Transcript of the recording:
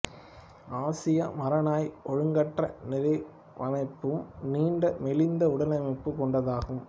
ஆசிய மரநாய் ஒழுங்கற்ற நிறவமைப்பும் நீண்டு மெலிந்த உடலமைப்பும் கொண்டதாகும்